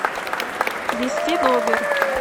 ввести номер